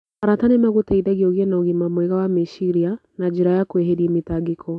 Arata nĩ magũteithagia ũgĩe na ũgima mwega wa meciria na njĩra ya kwĩheri mĩtangĩko.